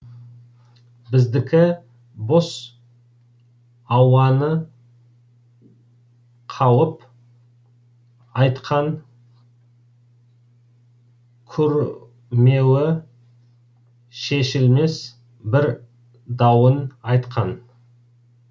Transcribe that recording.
біздікі бос ауаны қауып айтқан курмеуі шешілмес бір дауын айтқан